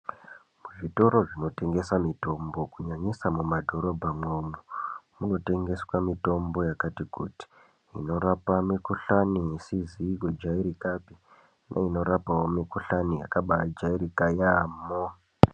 Zvitoro zvinotengesa mitombo kunyanyisa mumadhorobha umwomwo munotengeswa mitombo yakati kuti inorapa mikohlani isizi kujairikapi neinorapawo mingohlani yakaba ajairika yamho.